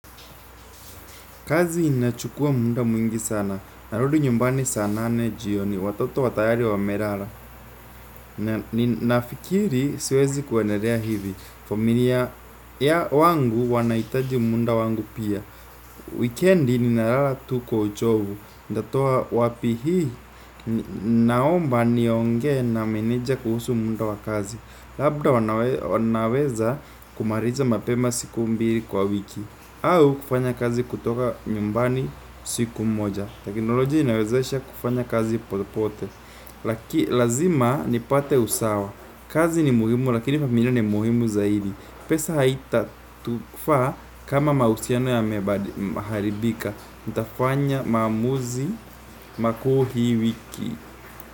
Kazi inachukua mu da mwingi sana, narudi nyumbani sanane jioni, watoto tayari wa melala. Ninafikiri siwezi kuendelea hivi, familia ya ngu wanaitaji muda wangu pia Weekend ninalala tu kwauchovu, ntatoa wapi hii naomba nionge na manager kuhusu muda wakazi. Labda wanaweza wanaweza kumaliza mapema siku mbili kwa wiki. Au kufanya kazi kutoka nyumbani siku moja. Teknolojia inawezesha kufanya kazi popote. Laki lazima nipate usawa. Kazi ni muhimu lakini familia ni muhimu zaidi. Pesa haita tufaa kama mahusiano ya meharibika. Nitafanya maamuzi makuu hi wiki.